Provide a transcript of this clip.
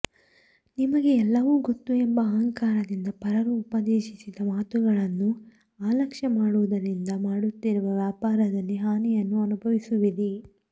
ನಿಮಗೇ ಎಲ್ಲವೂ ಗೊತ್ತು ಎಂಬ ಅಹಂಕಾರದಿಂದ ಪರರು ಉಪದೇಶಿಸಿದ ಮಾತುಗಳನ್ನು ಅಲಕ್ಷ ಮಾಡುವುದರಿಂದ ಮಾಡುತ್ತಿರುವ ವ್ಯಾಪಾರದಲ್ಲಿ ಹಾನಿಯನ್ನು ಅನುಭವಿಸುವಿರಿ